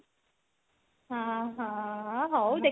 ଓଃ ହୋ ହଉ ଦେଖି